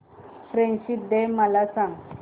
friendship day मला सांग